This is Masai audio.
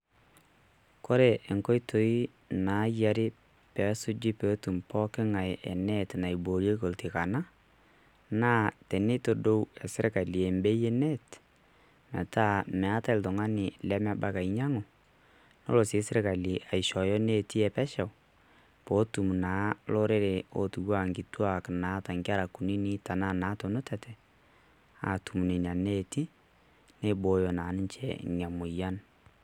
Kore enkoitoi naayiari naasuju peetum poki ng'ae enet naiboorieki oltikana naa tenetodou sirkali ebei enet metaa meeta oltung'ani lemebaiki ainyiang'u nelo sii sirkali aishooyo enetii epesho peetum naa lorere ootiu enaa enkituak naata Enkerai kunynyik tenaa naatunutate aatum Nena Neeti nibooyo naa ninche ina moyian.